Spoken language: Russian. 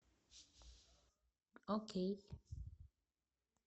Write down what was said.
окей